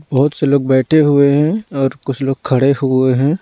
बहुत से लोग बैठे हुए हैं और कुछ लोग खड़े हुए हैं।